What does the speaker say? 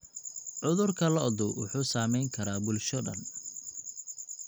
Cudurka lo'du wuxuu saameyn karaa bulsho dhan.